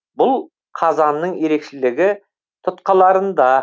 бұл қазанның ерекшелігі тұтқаларында